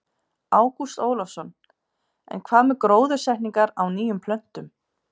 Ágúst Ólafsson: En hvað með gróðursetningar á nýjum plöntum?